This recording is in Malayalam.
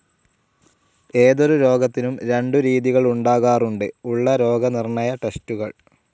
ഏതൊരു രോഗത്തിനും രണ്ടു രീതികൾ ഉണ്ടാകാറുണ്ട്. ഉള്ള രോഗനിർണ്ണയ ടെസ്റ്റുകൾ